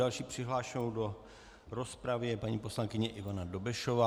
Další přihlášenou do rozpravy je paní poslankyně Ivana Dobešová.